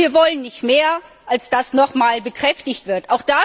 Wir wollen nicht mehr, als dass das nochmals bekräftigt wird.